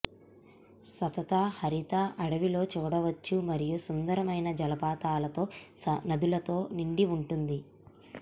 సతత హరిత అడవిలో చూడవచ్చు మరియు సుందరమైన జలపాతాలతో నదులతో నిండి ఉంటుంది